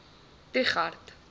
trigardt